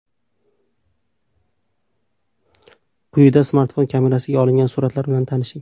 Quyida smartfon kamerasiga olingan suratlar bilan tanishing.